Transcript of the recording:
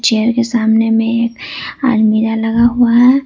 Chair के सामने में एक अलमीरा लगा हुआ है।